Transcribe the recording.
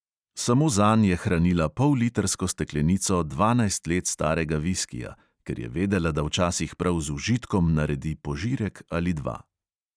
Samo zanj je hranila pollitrsko steklenico dvanajst let starega viskija, ker je vedela, da včasih prav z užitkom naredi požirek ali dva.